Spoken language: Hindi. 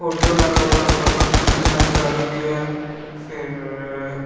फोटो लगा हुआ है ऊपर पंखा चल रहा है घड़ी भी है फिर --